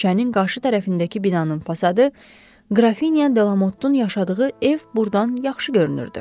Küçənin qarşı tərəfindəki binanın fasadı, qrafinya Delamottun yaşadığı ev burdan yaxşı görünürdü.